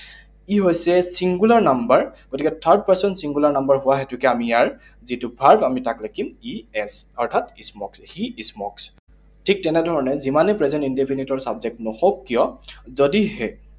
He হৈছে singular number, গতিকে third person singular number হোৱা হেতুকে আমি ইয়াৰ যিটো verb, আমি তাক লিখিম E S, অৰ্থাৎ smokes, he smokes । ঠিক তেনেধৰণে যিমানে present indefinite ৰ subject নহওঁক কিয়, যদিহে